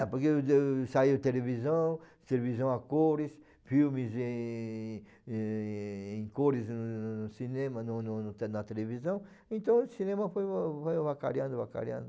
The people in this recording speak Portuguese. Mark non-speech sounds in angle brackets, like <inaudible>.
É, porque <unintelligible> saiu televisão, televisão a cores, filmes em em em cores no... cinema, no no no na televisão, então o cinema foi ava ava avacalhando, avacalhando.